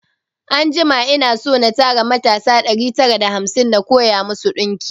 Anjima ina so na tara mutasa ɗari tara da hamsin na koya masu ɗinki